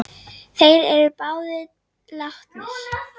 Þeir eru báðir látnir.